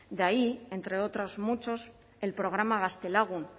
de ahí entre otros muchos el programa gaztelagun